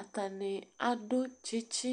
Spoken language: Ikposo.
Atani adu tsɩtsɩ